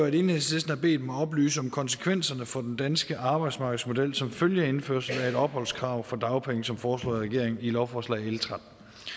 enhedslisten har bedt mig oplyse om konsekvenserne for den danske arbejdsmarkedsmodel som følge af indførelsen af et opholdskrav for dagpenge som foreslået af regeringen i lovforslag l trettende